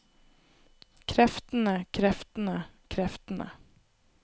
kreftene kreftene kreftene